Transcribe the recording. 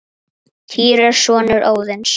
Týr er sonur Óðins.